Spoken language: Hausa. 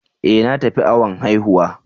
E! Na tafi awon haihuwa.